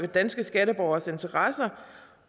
danske skatteborgeres interesser